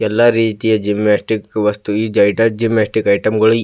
ಎಲ್ಲಾ ರೀತಿಯ ಜಿಂನಾಸ್ಟಿಕ್ ವಸ್ತು ಈ ಜೈಟಾ ಜಿಂನಾಸ್ಟಿಕ್ ಐಟಮ್ಗಳು --